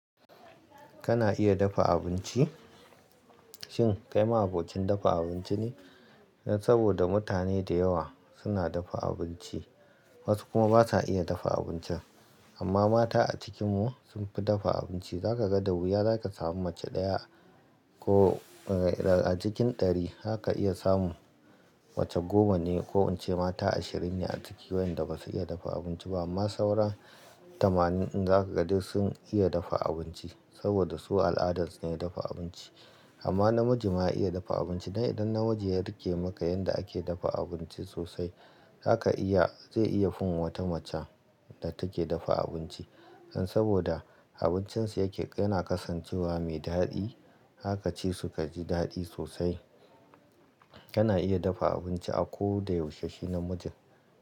Kana iya dafa abinci? Shin kai ma abocin dafa abinci ne? Saboda mutane da yawa suna dafa abinci, wasu kuma basa iya dafa abincin. Amma mata a cikin mu sun fi dafa abinci. Zaka ga da wuya zaka samu mace ɗaya ko a cikin ɗari haka iya samu mace goma ne ko in ce mata ashirin ne a cikin wayanda basu iya dafa abinci ba. Amma sauran tamanin in zaka ga duk sun iya dafa abinci saboda su al'adan su ne dafa abinci. Amma namiji ma iya dafa abinci. Dan idan namiji ya riƙe maka yanda ake dafa abinci sosai, haka iya zai iya fin wata mace da take dafa abinci. Saboda abincin sa yake yana kasancewa mai daɗi, haka ci su kaji daɗi sosai. Kana iya dafa abinci a ko da yaushe shi namiji.